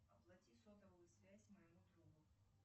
оплати сотовую связь моему другу